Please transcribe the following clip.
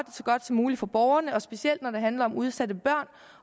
så godt som muligt for borgerne og specielt når det handler om udsatte børn